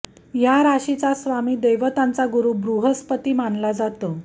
या राशीचा स्वामी देवतांचा गुरु बृहस्पती मानला जातो